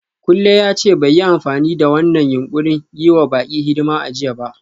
Kunle ya ce bai yi amfani da wannan yunƙurin yi wa baƙi hidima a jiya ba.